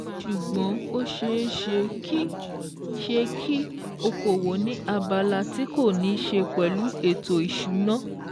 Ṣùgbọ́n ó ṣeé ṣe kí ṣe kí okòwò ni abala ti kò ní ṣe pẹ̀lú ètò ìsúná